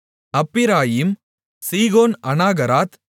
Ephraim Shihon Anaharath